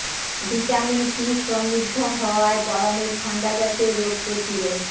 vitamin C সমৃদ্ধ হওয়ায় গরমে ঠাণ্ডা জতীয় রোগ প্রতিরোধ